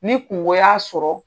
Ni kungo y'a sɔrɔ.